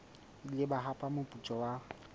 ile ba hapa moputso wa